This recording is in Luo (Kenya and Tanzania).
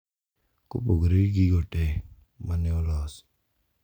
Kopogore gi gigo te ma ne olosi,